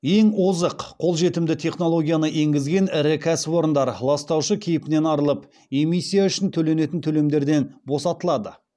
ең озық қолжетімді технологияны енгізген ірі кәсәіпорындар ластаушы кейпінен арылып эмиссия үшін төленетін төлемдерден босатылады